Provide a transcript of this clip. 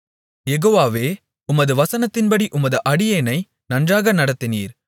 யெகோவாவே உமது வசனத்தின்படி உமது அடியேனை நன்றாக நடத்தினீர்